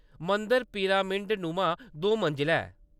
मंदर पिरामिडनुमा दो मंजलां ऐ।